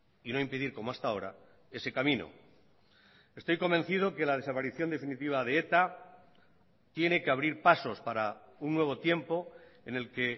y no impedir como hasta ahora ese camino estoy convencido que la desaparición definitiva de eta tiene que abrir pasos para un nuevo tiempo en el que